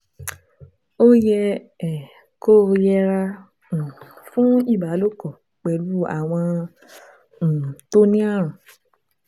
Ó yẹ um kó yẹra um fún ìbálòpọ̀ pẹ̀lú àwọn um tó ní ààrùn